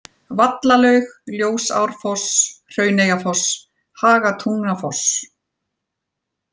Vallalaug, Ljósárfoss, Hrauneyjafoss, Hagatungnafoss